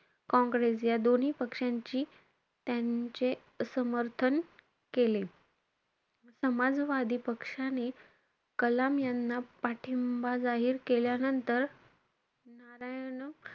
काँग्रेस या दोन्ही पक्षांची, त्यांचे समर्थन केले. समाजवादी पक्षाने कलाम यांना पाठिंबा जाहीर केल्यानंतर. नारायण,